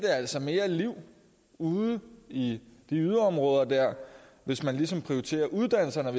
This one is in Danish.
altså mere liv ude i yderområderne hvis man ligesom prioriterer uddannelserne